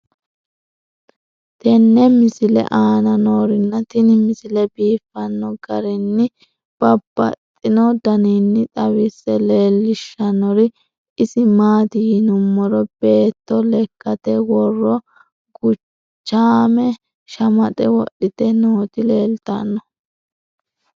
tenne misile aana noorina tini misile biiffanno garinni babaxxinno daniinni xawisse leelishanori isi maati yinummoro beetto lekkatte worro guchaamme shamaxxe wodhitte nootti leelittanno.